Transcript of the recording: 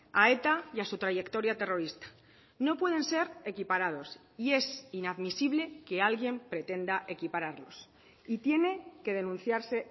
a eta y a su trayectoria terrorista no pueden ser equiparados y es inadmisible que alguien pretenda equipararlos y tiene que denunciarse